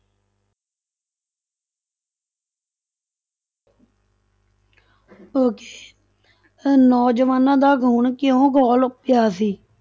Okay ਅਹ ਨੌਜਵਾਨਾਂ ਦਾ ਖੂਨ ਕਿਉਂ ਖੋਲ ਉੱਠਿਆ ਸੀ?